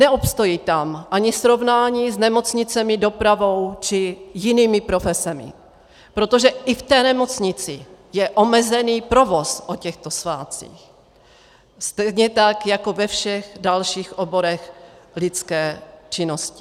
Neobstojí tam ani srovnání s nemocnicemi, dopravou či jinými profesemi, protože i v té nemocnici je omezený provoz o těchto svátcích, stejně tak jako ve všech dalších oborech lidské činnosti.